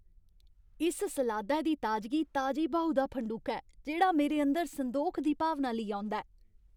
इस सलादै दी ताजगी ताजी ब्हाऊ दा फंडूका ऐ जेह्ड़ा मेरे अंदर संदोख दी भावना लेई औंदा ऐ।